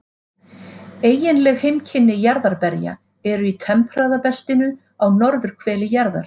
Eiginleg heimkynni jarðarberja eru í tempraða beltinu á norðurhveli jarðar.